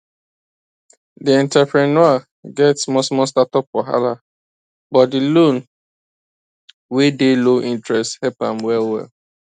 di entrepreneur get small small startup wahala but di loan wey dey low interest help am well well